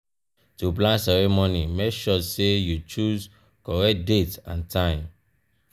to plan ceremony make sure say you choose correct date and time